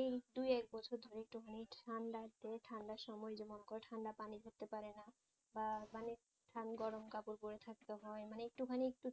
এই দু এক বছর ধরে একটুখানি ঠাণ্ডা তে ঠাণ্ডার সময় মনে করো ঠাণ্ডা পানি ধরতে পারেনা বা পানি গরম কাপড় পড়ে থাকতে হয় মানে একটুখানি একটু